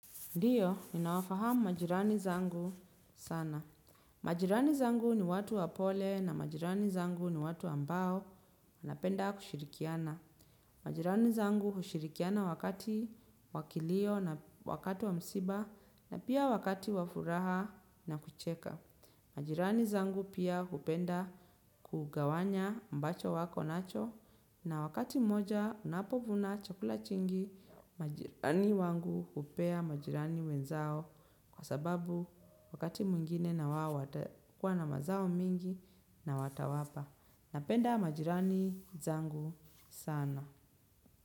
Ndiyo, ninawafahamu majirani zangu sana. Majirani zangu ni watu wapole na majirani zangu ni watu ambao wanapenda kushirikiana. Majirani zangu hushirikiana wakati wa kilio na wakati wa msiba na pia wakati wa furaha na kucheka. Majirani zangu pia hupenda kugawana ambacho wako nacho na wakati moja unapovuna chakula kingi. Majirani wangu hupea majirani wenzao. Kwa sababu wakati mwingine na wao watakuwa na mazao mingi na watawapa. Napenda majirani zangu sana.